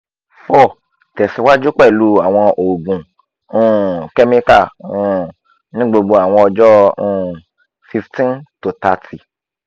four tesiwaju pelu awọn oogun um chemical um ni gbogbo awọn ọjọ um fifteen to thirty